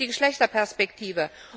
Es fehlt die Geschlechterperspektive.